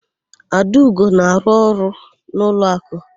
Adaugo na-arụ ọrụ n'ụlọakụ.